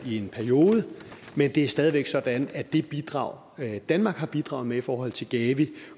i en periode men det er stadig væk sådan at det bidrag danmark har bidraget med i forhold til gavi